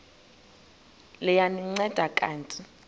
liya ndinceda kanti